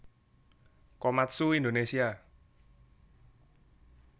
Komatsu Indonésia